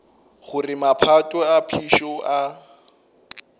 gore maphoto a phišo a